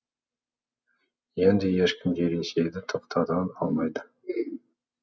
енді ешкім де ресейді тоқтата алмайды